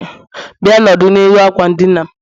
Bia nọdụ n'elu akwa n' dina'm